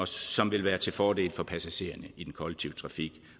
som vil være til fordel for passagererne i den kollektive trafik